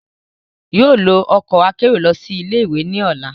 yóò lo ọkọ akero lọ si ile-iwe ni ọla